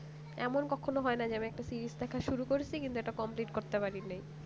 এমন কখন ও হয় না যে আমি একটা series দেখা শুরু করেছি কিন্তু এটা complete করতে পারিনি